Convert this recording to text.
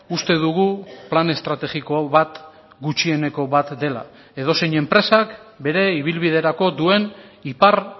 uste dugu plan estrategiko bat gutxieneko bat dela edozein enpresak bere ibilbiderako duen ipar